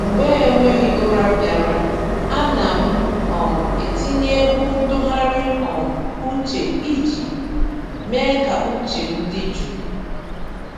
Mgbe enweghị ụra bịara, ana m um etinye egwu ntụgharị um uche iji mee ka uche m dị jụụ.